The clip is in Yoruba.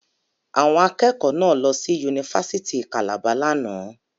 Àwọn akẹ́kọ̀ọ́ náà lọ sí Yunifásítì Calabar lánàá.